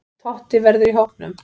Totti verður í hópnum.